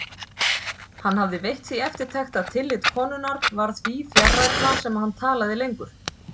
Hann hafði veitt því eftirtekt að tillit konunnar varð því fjarrænna sem hann talaði lengur.